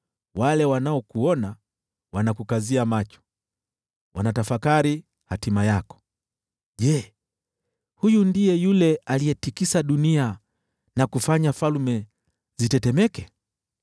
Wale wanaokuona wanakukazia macho, wanatafakari hatima yako: “Je, huyu ndiye yule aliyetikisa dunia na kufanya falme zitetemeke,